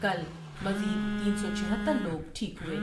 کل مزید تین سو چہھتر لوگ ٹھیک ہوئے ۔